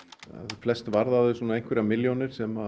flest varða þau svona einhverjar milljónir sem